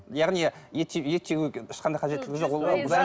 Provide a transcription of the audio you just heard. яғни ет ет жеуге ешқандай қажеттілігі жоқ